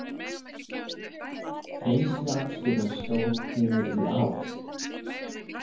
Reynsluaksturinn stóð yfir í ár